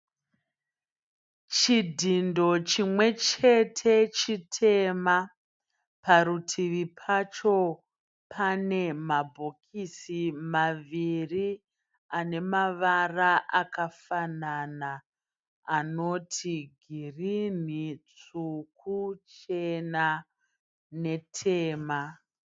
Chidhindo chimwechete chitema. Parutivi pacho pane mabhokisi maviri anemavara akafanana, anoti girinhi, tsvuku, chena netema.